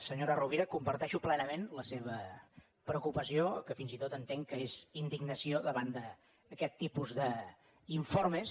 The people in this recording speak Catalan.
senyora rovira comparteixo plenament la seva preocupació que fins i tot entenc que és indignació davant d’aquest tipus d’informes